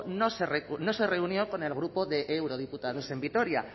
no se reunió con el grupo de eurodiputados en vitoria